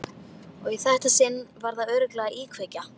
Og í þetta sinn var þetta örugglega íkveikja.